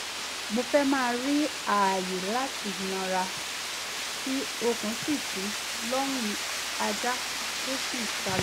mo fẹ́ má rí ààyè láti nàra tí okùn fi tú lọ́rùn ajá tó sì sálọ